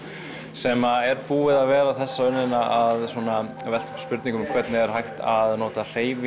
sem er búið að vera þessa önnnina að velta upp spurningum hvernig er hægt að nota hreyfingu